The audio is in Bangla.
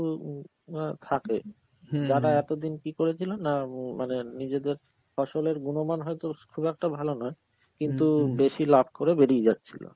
উম আঁ থাকে যারা এতদিন কি করেছিল, না উম মানে নিজেদের ফসলের গুণমান হয়তো স~ খুব একটা ভালো নয় কিন্তু বেশি লাভ করে বেরিয়ে যাচ্ছিল.